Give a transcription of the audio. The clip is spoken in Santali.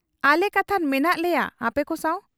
ᱟᱞᱮ ᱠᱟᱛᱷᱟᱱ ᱢᱮᱱᱟᱜ ᱞᱮᱭᱟ ᱟᱯᱮᱠᱚ ᱥᱟᱶ ᱾